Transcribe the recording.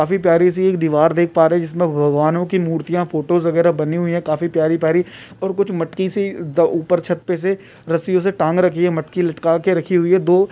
काफी प्यारी सी एक दिवार देख पा रहे है जिस पर भगवानो की मुर्तिया फोटो वेगरा बनी हुई है काफी प्यारी प्यारी और कुछ मटकी सी ऊपर छत पे से रसियो से टांग रखी है मटकी लटका रखी है।